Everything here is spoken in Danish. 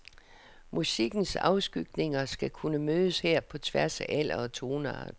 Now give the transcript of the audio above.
Musikkens afskygninger skal kunne mødes her på tværs af alder og toneart.